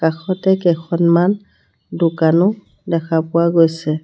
কাষতে কেখনমান দোকানো দেখা পোৱা গৈছে।